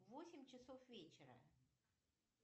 восемь часов вечера